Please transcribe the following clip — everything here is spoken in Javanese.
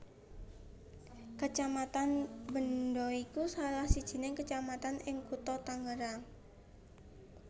Kecamatan Benda iku salah sijining kecamatan ing Kutha Tangerang